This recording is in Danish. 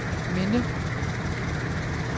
minde